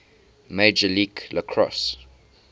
major league lacrosse